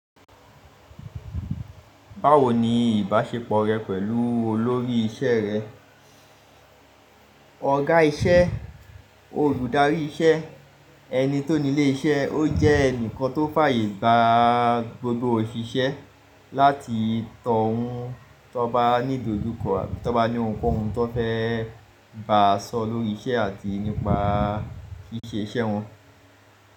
Báwo ni ìbáṣepọ̀ rẹ pẹ̀lú olórí iṣẹ́ rẹ? Ọ̀gá iṣẹ́, olùdarí iṣẹ́ ẹni tó nílé iṣẹ́, ó jẹ́ ẹnìkan tó fàyè gba gbogbo òṣìṣẹ́ láti tọ̀ ọ́un tó bá ní ìdojúkọ àbí tó bá ní ohunkóhun tó fẹ́ bàá sọ lórí iṣẹ́ àti nípa ṣíṣe iṣẹ́ wọn.